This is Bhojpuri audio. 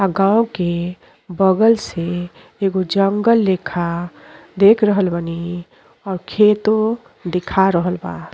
और गांव के बगल से एगो जंगल लेखा देख रहल बानी। अ खेतो दिखा रहल बा।